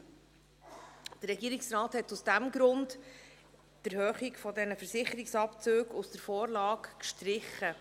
Der Regierungsrat hat aus diesem Grund die Erhöhung dieser Versicherungsabzüge aus der Vorlage gestrichen.